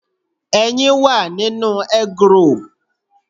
Ẹyin wà nínú eggroll.